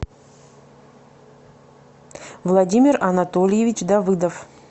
владимир анатольевич давыдов